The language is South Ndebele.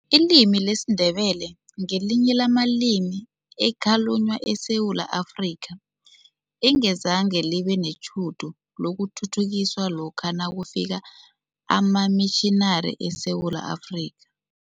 Ilimi lesiNdebele ngelinye lamalimi ekhalunywa eSewula Afrika, engazange libe netjhudu lokuthuthukiswa lokha nakufika amamitjhinari eSewula Afrika.